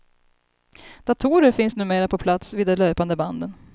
Datorer finns numera på plats vid de löpande banden.